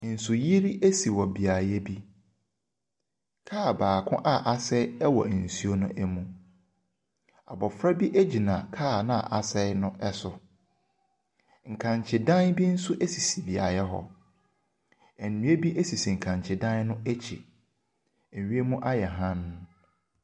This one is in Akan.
Nsuyiri asi wɔ beaeɛ bi, kaa baako a asɛe wɔ nsuo ne mu. Abɔfra bo gyina kaa no a asɛe no soro. Nkankyedan bi nso sisi beaeɛ hc. Nnua bi sisi nkankyedan no akyi. Wiem ayɛ hann.